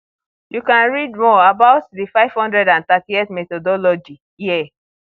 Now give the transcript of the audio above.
you can read more about the 538 methodology here